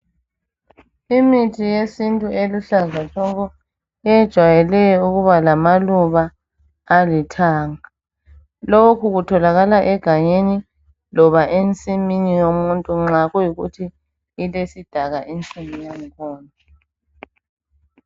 Imithi yesintu eluhlaza tshoko ejwayeleyo ukuba lamaluba alithanga lokhu kutholakala egangeni loba ensimini yomuntu nxa kuyikuthi ilesidaka insimi yangkhona.